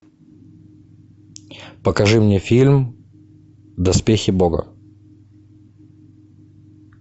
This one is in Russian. покажи мне фильм доспехи бога